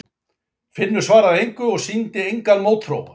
Finnur svaraði engu og sýndi engan mótþróa